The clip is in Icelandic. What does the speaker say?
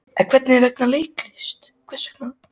En hvers vegna leiklist?